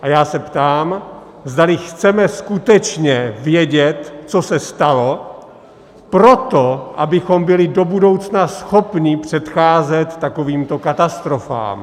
A já se ptám, zdali chceme skutečně vědět, co se stalo, proto, abychom byli do budoucna schopni předcházet takovýmto katastrofám.